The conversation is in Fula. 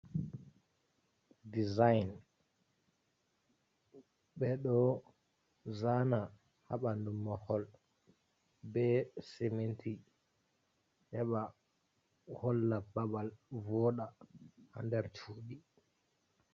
Design ɓe ɗo zana ha ɓandu mahol be sementi heba holla babal voda ha nder sudi.